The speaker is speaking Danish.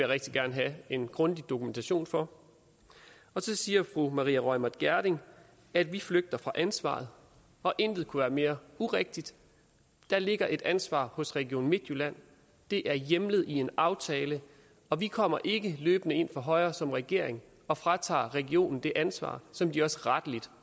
rigtig gerne have en grundig dokumentation for og så siger fru maria reumert gjerding at vi flygter fra ansvaret og intet kunne være mere urigtigt der ligger et ansvar hos region midtjylland det er hjemlet i en aftale og vi kommer ikke løbende ind fra højre som regering og fratager regionen det ansvar som de også rettelig